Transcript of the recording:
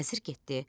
Vəzir getdi.